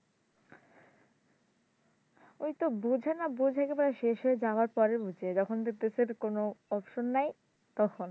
ওইতো বুঝে না বুঝে একেবারে শেষ হয়ে যাওয়ার পরে বুঝে যখন দেখতেছে কোন option নাই তখন